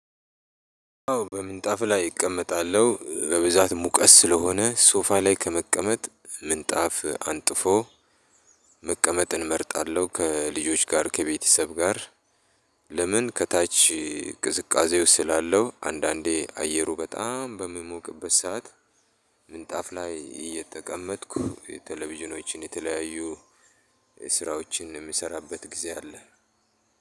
በምንጣፍ ላይ እቀመጣለሁ በብዛት ሙቀት ስለሆነ ሶፋ ላይ ከመቀመጥ ምንጣፍ አንጥፎ መቀመጥን እመርጣለሁ ከልጆች ጋር ከቤተሰብ ጋር ለምን ከታች ቅዝቃዜው ስላለው አንዳንዴ አየሩ በጣም በሚሞቅበት ሰዓት ምንጣፍ ላይ እየተቀመጥኩ የቴሌቪዥኖችን የተለያዩ ስራዎችን የምሰራበት ጊዜ አለ።